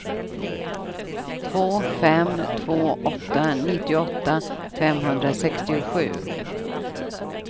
två fem två åtta nittioåtta femhundrasextiosju